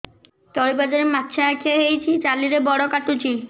ତଳିପାଦରେ ମାଛିଆ ଖିଆ ହେଇଚି ଚାଲିଲେ ବଡ଼ କାଟୁଚି